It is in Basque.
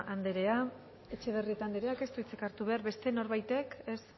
anderea etxebarrieta anderea ez dut hitzik hartu behar beste norbaitek ez